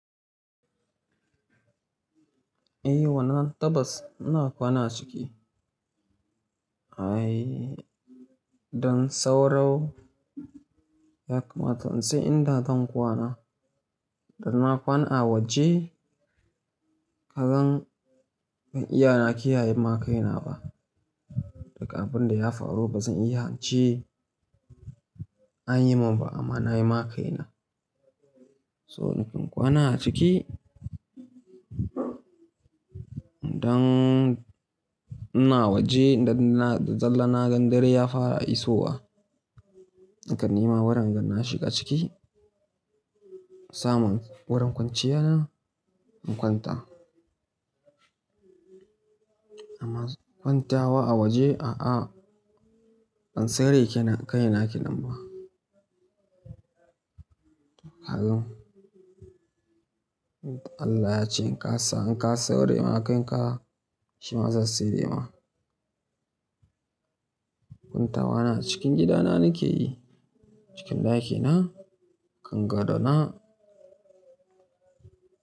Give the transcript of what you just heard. Eh, wannan tabbas ina kwana aciki. Ai dan sauro, yakamata in sai inda zan kwana. Da na kwana a waje, kasan bazan iya na kiyaye ma kai na ba. Duk abinda da ya faru ba zan iya ince an yi mun ba amma na yi ma kai na. So ni ke in kwana a ciki, dan ina waje da zalla na ga dare ya fara iso wa. Nakan ni ma wurin inna shiga ciki, samun wurin kwanciya na, in kwanta. Amma kwantawa a waje, a'a ban tsare kai na, kai na kinan ba. Ka gan? Allah ya ce in ka sa, in ka tsare ma kai ka, shi ma zai tsare ma. Kwantawa na a cikin gida na nake yi, cikin daki na, kan gadona.